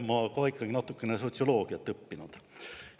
Ma ka ikkagi olen natukene sotsioloogiat õppinud.